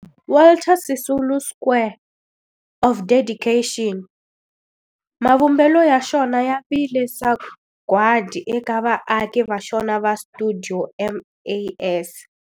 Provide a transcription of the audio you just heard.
Walter Sisulu Square of Dedication, mavumbelo ya xona ya vile sagwadi eka vaaki va xona va stuidio MAS.